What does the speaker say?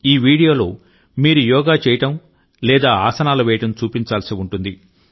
ఈ వీడియోలో మీరు యోగా చేయడం లేదా ఆసనాలు వేయడం చూపించాల్సి ఉంటుంది